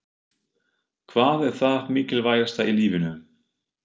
Hvað er það mikilvægasta í lífinu?